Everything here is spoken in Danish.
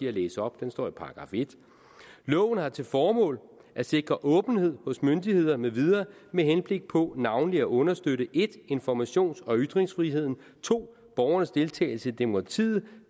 at læse op den står i § 1 loven har til formål at sikre åbenhed hos myndigheder med videre med henblik på navnlig at understøtte 1 informations og ytringsfriheden 2 borgernes deltagelse i demokratiet